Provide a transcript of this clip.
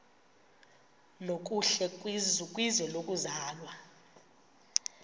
nokuhle kwizwe lokuzalwa